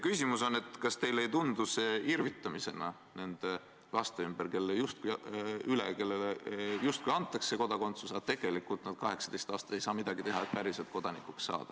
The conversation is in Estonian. Küsimus on järgmine: kas teile ei tundu see irvitamisena nende laste üle, kellele justkui antakse kodakondsus, aga kes tegelikult ei saa 18 aastat midagi teha, et päriselt kodanikuks saada.